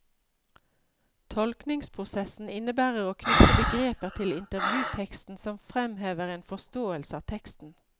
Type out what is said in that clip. Tolkningsprosessen innebærer å knytte begreper til intervjuteksten som fremhever en forståelse av teksten.